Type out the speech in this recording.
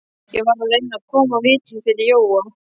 Ég varð að reyna að koma vitinu fyrir Jóa.